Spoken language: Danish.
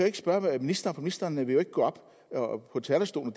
ikke spørge ministeren for ministeren vil jo ikke gå på talerstolen